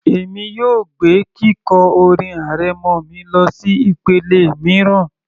Èmi yóò gbé kíkọ orin arẹmọ mi lọsí ìpele mìíràn